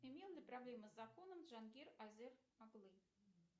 имел ли проблемы с законом джангир азер оглы